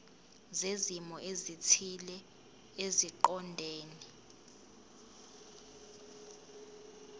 zezimo ezithile eziqondene